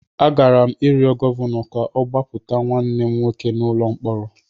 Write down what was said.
Agara m ịrịọ Gọvanọ ka ọ gbapụta nwanne m nwoke n’ụlọ mkpọrọ.